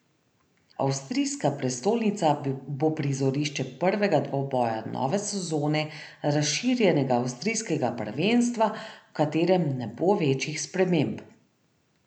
Avstrijska prestolnica bo prizorišče prvega dvoboja nove sezone razširjenega avstrijskega prvenstva, v katerem ne bo večjih sprememb.